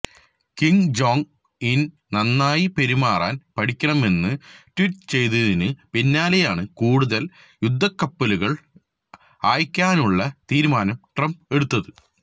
king Jong Un നന്നായി പെരുമാറൻ പഠിക്കണമെന്ന് ട്വീറ്റ് ചെയ്തതിനു പിന്നാലെയാണ് കൂടുതൽ യുദ്ധക്കപ്പലുകൾ അയയ്ക്കാനുള്ള തീരുമാനം ട്രംപ് എടുത്തത്